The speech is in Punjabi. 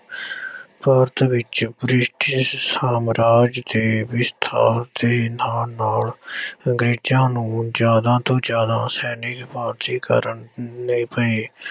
ਭਾਰਤ ਵਿੱਚ ਬ੍ਰਿਟਿਸ਼ ਸਾਮਰਾਜ ਦੇ ਵਿਸਥਾਰ ਦੇ ਨਾਲ ਨਾਲ ਅੰਗਰੇਜ਼ਾਂ ਨੂੰ ਜ਼ਿਆਦਾ ਤੋਂ ਜ਼ਿਆਦਾ ਸੈਨਿਕ ਭਰਤੀ ਕਰਨੇ ਪਏ।